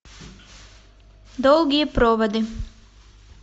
долгие проводы